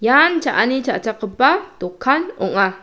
ian cha·ani cha·chakgipa dokan ong·a.